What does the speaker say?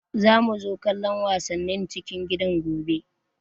Za mu zo kallon wasannin cikin gidan gobe